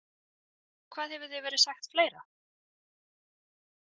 Hvað hefur þér verið sagt fleira?